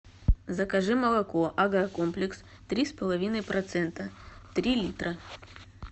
закажи молоко агрокомплекс три с половиной процента три литра